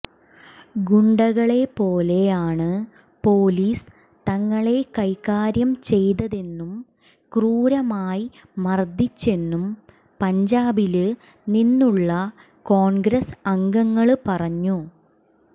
ഗുണ്ടകളെപ്പോലെയാണ് police തങ്ങളെ കൈകാര്യം ചെയ്തതെന്നും ക്രൂരമായി മര്ദ്ദിച്ചെന്നും പഞ്ചാബില് നിന്നുള്ള കോണ്ഗ്രസ് അംഗങ്ങള് പറഞ്ഞു